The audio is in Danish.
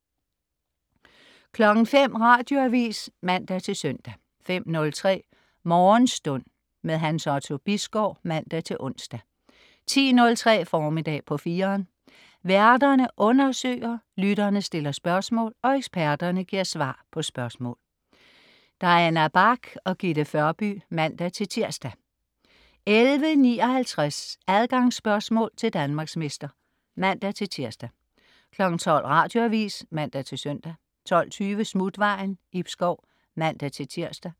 05.00 Radioavis (man-søn) 05.03 Morgenstund. Hans Otto Bisgaard (man-ons) 10.03 Formiddag på 4'eren. Værterne undersøger, lytterne stiller spørgsmål, og eksperterne giver svar på spørgsmål. Diana Bach og Gitte Førby (man-tirs) 11.59 Adgangsspørgsmål til Danmarksmester (man-tirs) 12.00 Radioavis (man-søn) 12.20 Smutvejen. Ib Schou (man-tirs)